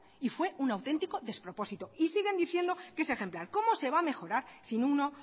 y fue un auténtico despropósito y siguen diciendo que es ejemplar cómo se va a mejorar si uno